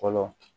Fɔlɔ